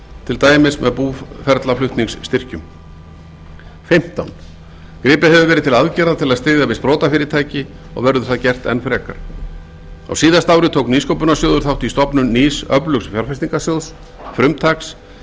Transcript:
til dæmis með búferlaflutningsstyrkjum fimmtán gripið hefur verið til aðgerða til að styðja við sprotafyrirtæki og verður það gert enn frekar á síðasta ári tók nýsköpunarsjóður þátt í stofnun nýs öflugs fjárfestingarsjóðs frumtaks sem